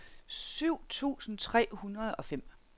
syv tusind tre hundrede og fem